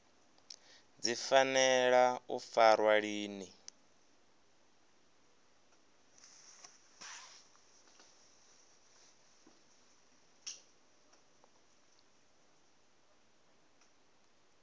dzi fanela u farwa lini